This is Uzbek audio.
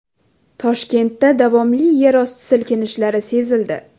Toshkentda davomli yerosti silkinishlari sezildi.